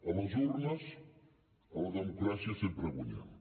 a les urnes a la democràcia sempre guanyem